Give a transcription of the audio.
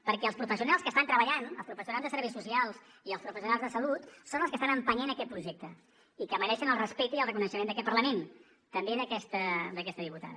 perquè els professionals que estan treballant els professionals de serveis socials i els professionals de salut són els que estan empenyent aquest projecte i que mereixen el respecte i el reconeixement d’aquest parlament també d’aquesta diputada